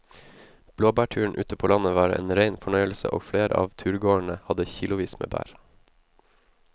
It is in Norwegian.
Blåbærturen ute på landet var en rein fornøyelse og flere av turgåerene hadde kilosvis med bær.